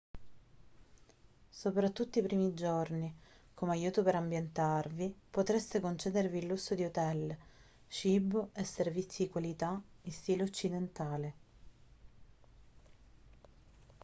soprattutto i primi giorni come aiuto per ambientarvi potreste concedervi il lusso di hotel cibo e servizi di qualità in stile occidentale